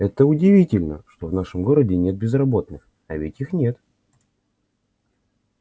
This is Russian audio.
это удивительно что в нашем городе нет безработных а ведь их нет